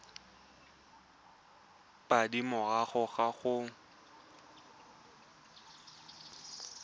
pedi morago ga go abelwa